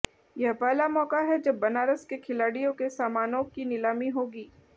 यह पहला मौका है जब बनारस के खिलाड़ियों के सामानों की नीलामी होगी